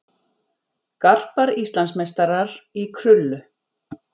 Garpar Íslandsmeistarar í krullu